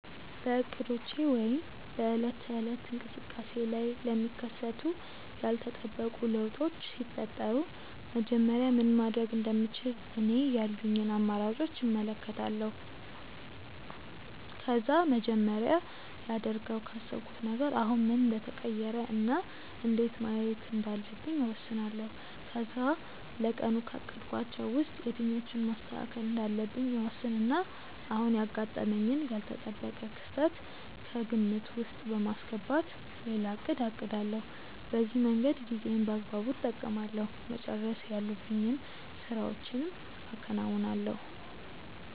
በእቅዶቼ ወይም በዕለት ተዕለት እንቅስቃሴዬ ላይ ለሚከሰቱ ያልተጠበቁ ለውጦች ሲፈጠሩ መጀመሪያ ምን ማድረግ እንደምችል እኔ ያሉኝን አማራጮች እመለከታለሁ። ከዛ መጀመሪያ ላደርገው ካሰብኩት ነገር አሁን ምን እንደተቀየረ እና እንዴት ማየት እንዳለብኝ እወስናለሁ። ከዛ ለቀኑ ካቀድኳቸው ውስጥ የትኞቹን ማስተካከል እንዳለብኝ እወስንና አሁን ያጋጠመኝን ያልተጠበቀ ክስተት ከግምት ውስጥ በማስገባት ሌላ እቅድ አቅዳለሁ። በዚህ መንገድ ጊዜዬን በአግባቡ እጠቀማለሁ፤ መጨረስ ያሉብኝን ስራዎችም አከናውናለሁ።